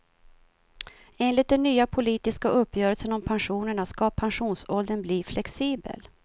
Enligt den nya politiska uppgörelsen om pensionerna ska pensionsåldern bli flexibel.